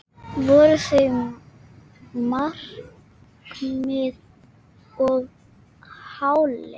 Voru þau markmið of háleit?